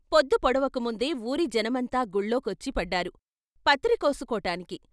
పొద్దు పొడవకముందే వూరి జనమంతా గుళ్ళోకొచ్చి పడ్డారు పత్రి కోసు కోటానికి.